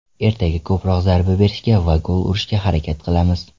Ertaga ko‘proq zarba berishga va gol urishga harakat qilamiz.